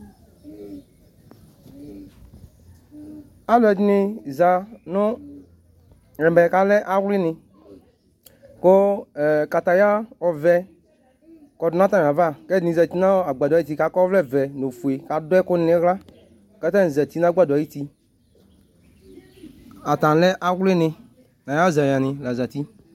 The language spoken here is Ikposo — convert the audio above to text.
Alʋɖìní zanʋ ɛmɛ ku ale awlìní ku kataya ɔvɛ kɔɖunʋ atamíava Ɛɖìníbi sɛtinʋ agbadɔɛ ayʋti ku akɔ ɔvlɛ vɛ nʋ ɔƒʋe ku aɖʋɛkʋluŋʋ ihla kʋatani zati nʋ agbadɔɛ ayʋti Atanilɛ awlìní nʋ ayʋɛzaní lazeti